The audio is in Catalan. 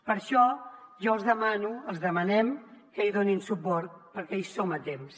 per això jo els demano els demanem que hi donin suport perquè hi som a temps